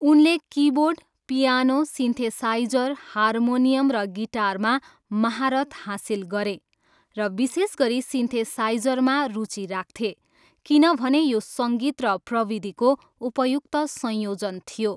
उनले keyboard, piano, synthesiser, harmonium र गिटारमा महारत हासिल गरे, र विशेष गरी सिन्थेसाइजरमा रुचि राख्थे किनभने यो सङ्गीत र प्रविधिको उपयुक्त संयोजन थियो।